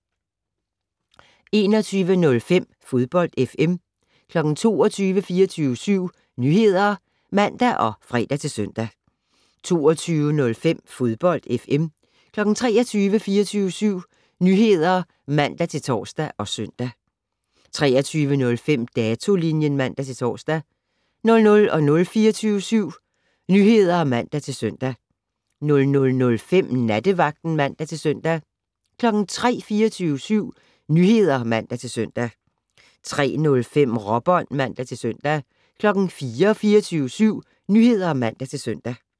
21:05: Fodbold FM 22:00: 24syv Nyheder (man og fre-søn) 22:05: Fodbold FM 23:00: 24syv Nyheder (man-tor og søn) 23:05: Datolinjen (man-tor) 00:00: 24syv Nyheder (man-søn) 00:05: Nattevagten (man-søn) 03:00: 24syv Nyheder (man-søn) 03:05: Råbånd (man-søn) 04:00: 24syv Nyheder (man-søn)